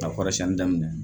Ka kɔrɔsiɲɛni daminɛ